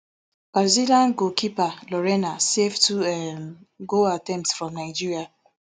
brazilian goalkeeper lorena save two um goal attempts from nigeria